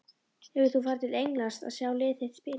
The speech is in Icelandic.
Hefur þú farið til Englands að sjá lið þitt spila?